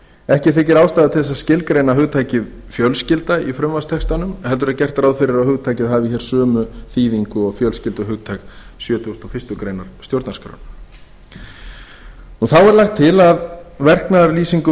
ekki þykir ástæða til að skilgreina hugtakið fjölskylda í frumvarpstextanum heldur er gert ráð fyrir að hugtakið hafi hér sömu þýðingu og fjölskylduhugtak sjötugasta og fyrstu grein stjórnarskrárinnar þá er lagt til að verknaðarlýsingum